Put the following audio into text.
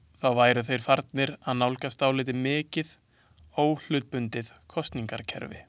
Þá væru þeir farnir að nálgast dálítið mikið óhlutbundið kosningakerfi.